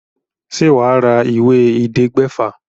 Ṣe wà á ra ìwé ẹ̀ẹ́dẹgbèfà?